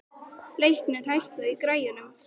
Leiknir, hækkaðu í græjunum.